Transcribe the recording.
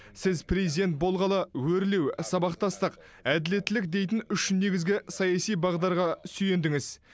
сіз президент болғалы өрлеу сабақтастық әділеттілік дейтін үш негізгі саяси бағдарға сүйендіңіз